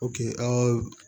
an ka